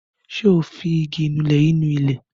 Ṣé o fi igi ìnulẹ̀ yìí ni ilẹ̀.